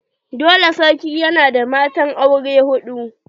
Dole sarki yana da matan aure hudu.